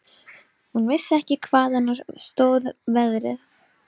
Hún vissi ekki hvaðan á sig stóð veðrið.